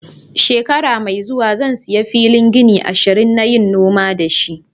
Shekara mai zuwa, zan siya filin gini ashirin n'yi noma da shi.